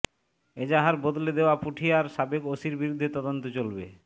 এজাহার বদলে দেওয়া পুঠিয়ার সাবেক ওসির বিরুদ্ধে তদন্ত চলবে